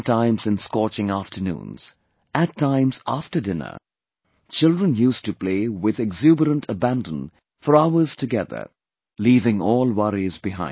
Sometimes in scorching afternoons; at times after dinner, children used to play with exuberant abandon for hours together, leaving all worries behind